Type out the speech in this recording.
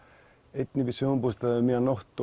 einn í sumarbústað um miðja nótt